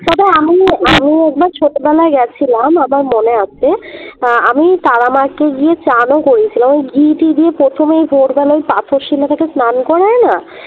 তবে আমি আমি একবার ছোটবেলায় গেছিলাম আমার মনে আছে আহ আমি তারা মা কে গিয়ে চান ও করিয়েছিলাম আমি ঘি টি দিয়ে প্রথমেই ভোরবেলায় ওই পাথর শিলা টাকে স্নান করায় না